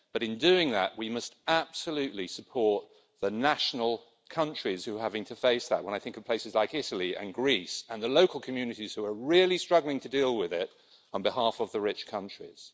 In doing that, we must absolutely support the national countries who are having to face that and I think of places like Italy and Greece and the local communities who are really struggling to deal with it on behalf of the rich countries.